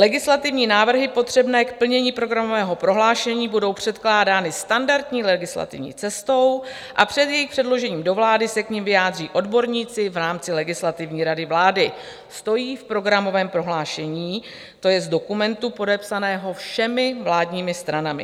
"Legislativní návrhy potřebné k plnění programového prohlášení budou předkládány standardní legislativní cestou a před jejich předložením do vlády se k nim vyjádří odborníci v rámci Legislativní rady vlády," stojí v programovém prohlášení, to je z dokumentu podepsaného všemi vládními stranami.